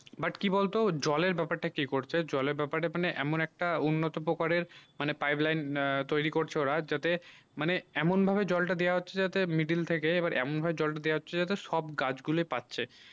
but কি বল তো জলে ব্যাপারে তা কি করছে জলে ব্যাপার এমন একটা উন্নত পোকার মানে pipe line তৈরী করছে ওরা যাতে মানে এমন ভাবে জল তা দিয়া হচ্ছে যে middle থেকে এইবার এমন ভাবে জল তা দিয়া হচ্ছে যাতে সব গাছ গুল পাচ্ছে